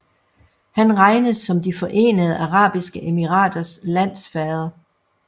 Han regnes som De Forenede Arabiske Emiraters landsfader